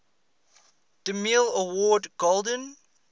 demille award golden